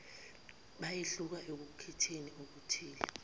bayehluka ekukhetheni okuthile